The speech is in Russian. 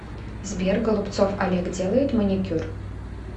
сбер голубцов олег делает маникюр